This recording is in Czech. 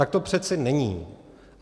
Tak to přece není.